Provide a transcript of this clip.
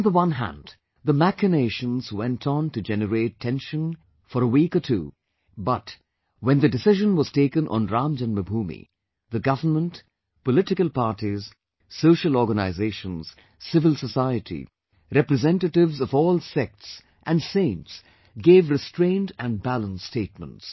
On the one hand, the machinations went on to generate tension for week or two, but, when the decision was taken on Ram Janmabhoomi, the government, political parties, social organizations, civil society, representatives of all sects and saints gave restrained and balanced statements